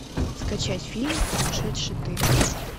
скачать фильм сумасшедший ты